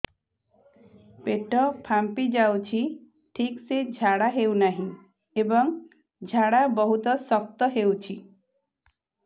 ପେଟ ଫାମ୍ପି ଯାଉଛି ଠିକ ସେ ଝାଡା ହେଉନାହିଁ ଏବଂ ଝାଡା ବହୁତ ଶକ୍ତ ହେଉଛି